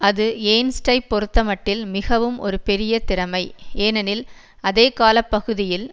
அது ஏர்ன்ஸ்ட்டைப் பொறுத்தமட்டில் மிகவும் ஒரு பெரிய திறமை ஏனெனில் அதே கால பகுதியில்